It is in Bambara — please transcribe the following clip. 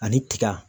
Ani tiga